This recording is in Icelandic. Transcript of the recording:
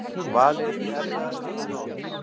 Valið er því erfiðara en áður